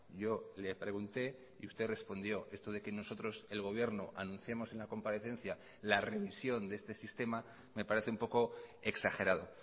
yo le pregunté y usted respondió esto de que nosotros el gobierno anunciamos en la comparecencia la revisión de este sistema me parece un poco exagerado